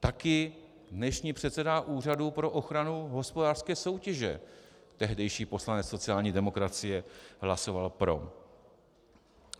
Taky dnešní předseda Úřadu pro ochranu hospodářské soutěže, tehdejší poslanec sociální demokracie, hlasoval pro.